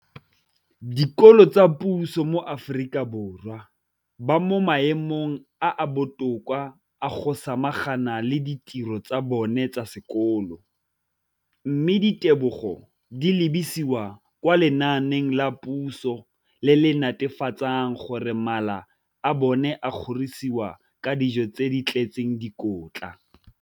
Dikolo tsa puso mo Aforika Borwa ba mo maemong a a botoka a go ka samagana le ditiro tsa bona tsa sekolo, mme ditebogo di lebisiwa kwa lenaaneng la puso le le netefatsang gore mala a bona a kgorisitswe ka dijo tse di tletseng dikotla.